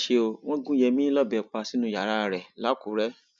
ó mà ṣe ó wọn gún yẹmi lọbẹ pa sínú yàrá rẹ lákùrẹ